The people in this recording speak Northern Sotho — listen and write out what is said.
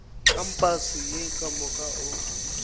kampase ye ka moka o